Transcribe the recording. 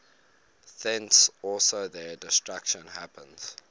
thence also their destruction happens